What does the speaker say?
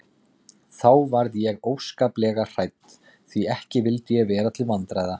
Þá varð ég óskaplega hrædd því ekki vildi ég vera til vandræða.